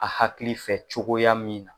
A hakili fɛ cogoya min na